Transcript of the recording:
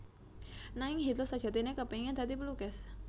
Nanging Hitler sajatiné kepéngin dadi pelukis